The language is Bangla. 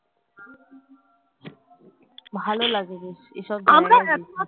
ভালো লাগে রে এসব